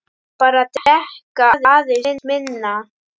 Bara drekka aðeins minna.